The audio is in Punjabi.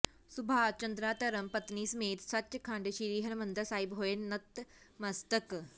ਸੁਭਾਸ਼ ਚੰਦਰਾ ਧਰਮ ਪਤਨੀ ਸਮੇਤ ਸਚਖੰਡ ਸ੍ਰੀ ਹਰਿਮੰਦਰ ਸਾਹਿਬ ਹੋਏ ਨਤਮਸਤਕ